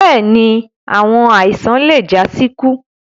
Bẹ́ẹ̀ni, awọn aisan le ja si iku